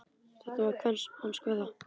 Þetta var hans kveðja.